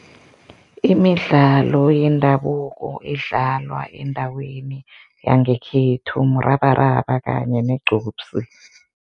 Imidlalo yendabuko edlalwa endaweni yangekhethu murabaraba kanye negqupsi.